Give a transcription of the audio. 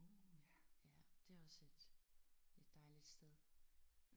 Det var sødt. Et dejligt sted